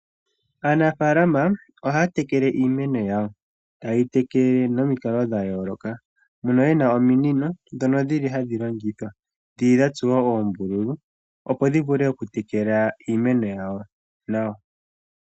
Aanafaalama ohaya tekele iimeno yawo , ta yeyi tekele nomikalo dha yoolokathana mono yena ominino odho dhili hadhi longithwa opo ya vule okutekela iimeno yawo.